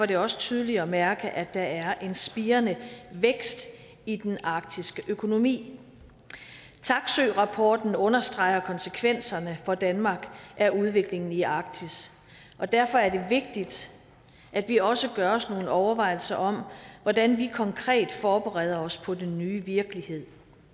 det også tydeligt at mærke at der er en spirende vækst i den arktiske økonomi taksøerapporten understreger konsekvenserne for danmark af udviklingen i arktis derfor er det vigtigt at vi også gør os nogle overvejelser om hvordan vi konkret forbereder os på den nye virkelighed